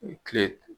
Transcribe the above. Kile